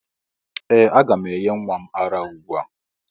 Ee! Aga m enye nwa m ara ugbu a.